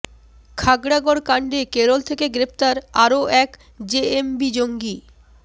খাগড়াগড় কাণ্ডে কেরল থেকে গ্রেফতার আরও এক জেএমবি জঙ্গি